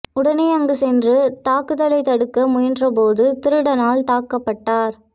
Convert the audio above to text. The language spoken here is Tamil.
உடனே அங்கு சென்று தாக்கு தலைத் தடுக்க முயன்றபோது திருடனால் தாக்கப்பட்டார்